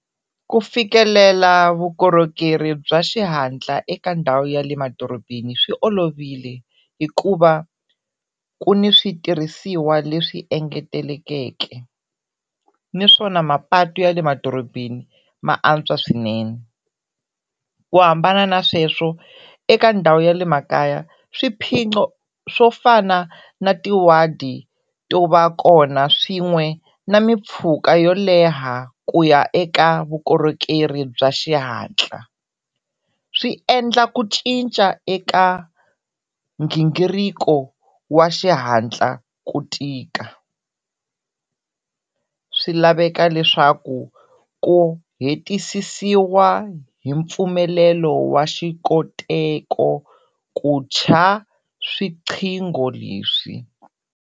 Ku fikelela vukorhokeri bya xihatla eka ndhawu ya le madorobeni swi olovile hikuva ku ni switirhisiwa leswi engetelekeke naswona mapatu ya le madorobeni ma antswa swinene ku hambana na sweswo eka ndhawu ya le makaya swiphiqo swo fana na tiwadi to va kona swin'we na mimpfhuka yo leha ku ya eka vukorhokeri bya xihatla swi endla ku cinca eka gingiriko wa xihatla ku tika. Swi laveka leswaku ku hetisisiwa hi mpfumelelo wa xikoteko ku tsha leswi.